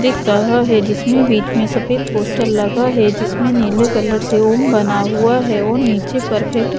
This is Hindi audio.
दिख रहा है जिसमें बीच में सफेद पोस्टर लगा है जिसमें नीले कलर से ओम बना हुआ है और नीचे परफेक्ट --